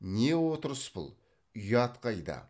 не отырыс бұл ұят қайда